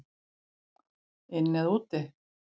Inni eða úti?